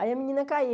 Aí a menina